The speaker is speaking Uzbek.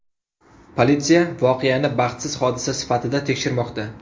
Politsiya voqeani baxtsiz hodisa sifatida tekshirmoqda.